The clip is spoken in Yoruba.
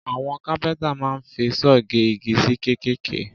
Àwọn kápẹ́ntà máa ń fi saw gé igi sí kéékèèké